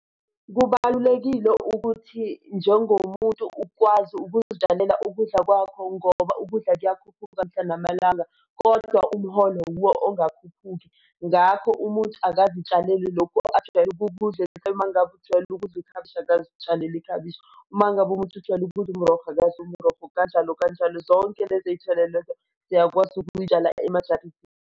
Kubalulekile ukuthi njengomuntu ukwazi ukuzitshalela ukudla kwakho ngoba ukudla kuyakhuphuka mihla namalanga, kodwa umholo wuwo ongakhuphuki, ngakho umuntu akazitshalele lokho ajwayele ukukudla, uma ngabe ujwayele ukudla ikhabishi akazitshalela iklabishi uma ngabe umuntu ujwayele ukudla umrokho akadle umrokho, kanjalo kanjalo zonke lezithelo, siyakwazi ukuzitshala emajaridini.